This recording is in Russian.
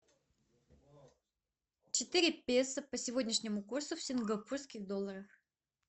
четыре песо по сегодняшнему курсу в сингапурских долларах